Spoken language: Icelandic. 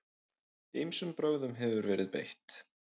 Ýmsum brögðum hefur verið beitt.